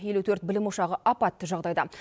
елу төрт білім ошағы апатты жағдайда